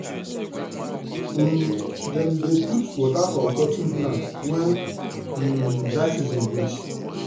um dem dey put water for cotton plant wen um dry season reach.